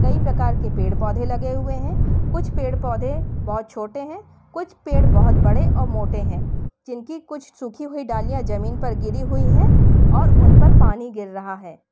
कई प्रकार के पेड़ पौधे लगे हुए हैं कुछ पेड़ पौधे बहुत छोटे हैं कुछ पेड़ बहुत बड़े और मोटे हैं जिनकी कुछ सूखी हुई डालियां जमीन पर गिरी हुई है और उन पर पानी गिर रहा है।